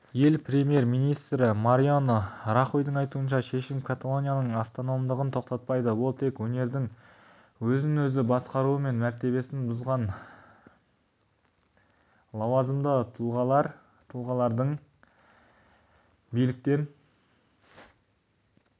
ел премьер-министрі мариано рахойдың айтуынша шешім каталонияның автономдығын тоқтатпайды ол тек өңірдің өзін өзі басқаруы мен мәртебесін бұзған лауазымды тұлғаларды биліктен